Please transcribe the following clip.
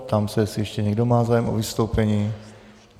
Ptám se, jestli ještě někdo má zájem o vystoupení.